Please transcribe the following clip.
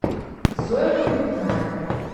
зоя погребная